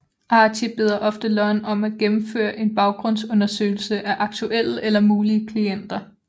Archie beder ofte Lon om at gennemføre en baggrundsundersøgelse af aktuelle eller mulige klienter